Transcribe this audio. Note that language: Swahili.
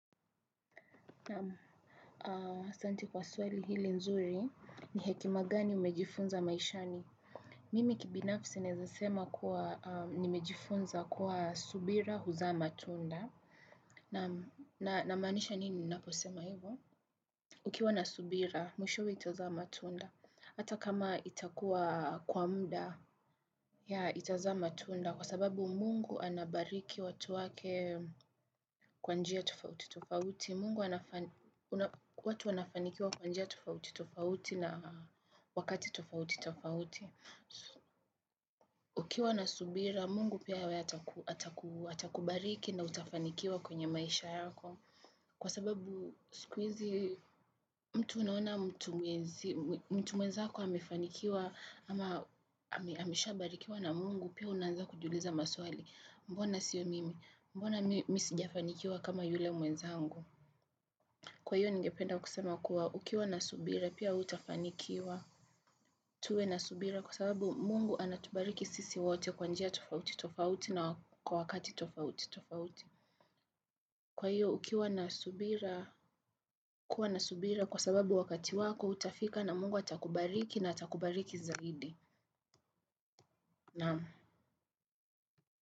Naam asanti kwa swali hili nzuri ni hekima gani umejifunza maishani. Mimi kibinafsi naeza sema kuwa nimejifunza kuwa subira huzaa matunda. Namaanisha nini ninaposema hivo? Ukiwa na subira, mwishowe itazaa matunda. Hata kama itakuwa kwa muda, itazaa matunda. Kwa sababu mungu anabariki watu wake kwa njia tofauti tofauti. Mungu watu wanafanikiwa kwa njia tofauti, tofauti na wakati tofauti, tofauti. Ukiwa na subira, mungu pia yawe atakubariki na utafanikiwa kwenye maisha yako. Kwa sababu, siku hizi, mtu unaona mtu mwenzi, mtu mwenzako amefanikiwa, ama ameshabarikiwa na mungu, pia wewe unaanza kujiuliza maswali. Mbona sio mimi, mbona mimi sijafanikiwa kama yule mwenzangu. Kwa hiyo ningependa kusema kuwa ukiwa na subira pia wewe utafanikiwa. Tuwe na subira kwa sababu mungu anatubariki sisi wote kwa njia tofauti tofauti na kwa wakati tofauti tofauti. Kwa hiyo ukiwa na subira kwa sababu wakati wako utafika na mungu atakubariki na atakubariki zaidi. Naamu.